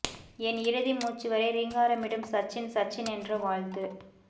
என் இறுதி மூச்சு வரை ரீங்காரமிடும் சச்சின் சச்சின் என்ற வாழ்த்து